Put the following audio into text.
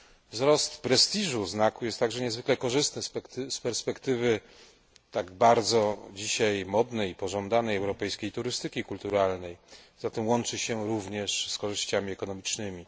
Wzrost prestiżu znaku jest także niezwykle korzystny z perspektywy tak bardzo dzisiaj modnej i pożądanej europejskiej turystyki kulturalnej, poza tym łączy się również z korzyściami ekonomicznymi.